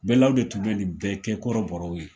Bɛlaw de tun bɛ nin bɛɛ kɛ kɔrɔbɔrɔw ye